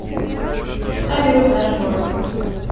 салют дашборд